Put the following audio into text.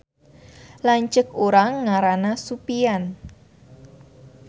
Lanceuk urang ngaranna Supian